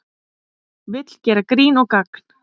Vill gera grín og gagn